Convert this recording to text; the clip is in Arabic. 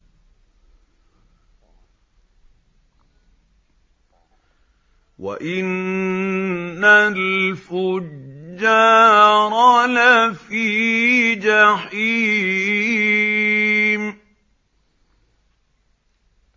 وَإِنَّ الْفُجَّارَ لَفِي جَحِيمٍ